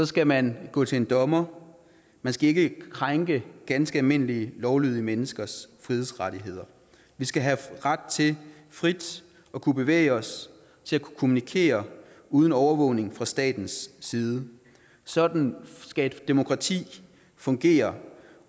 skal man gå til en dommer man skal ikke krænke ganske almindelige lovlydige menneskers frihedsrettigheder vi skal have ret til frit at kunne bevæge os til at kunne kommunikere uden overvågning fra statens side sådan skal et demokrati fungere